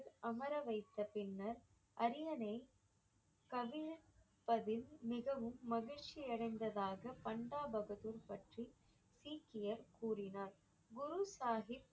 அமர வைத்த பின்னர் அரியணையை கவிழ்ப்பதில் மிகவும் மகிழ்ச்சி அடைந்ததாக பண்டா பகதூர் பற்றி சீக்கியர் கூறினார் குரு சாஹிப்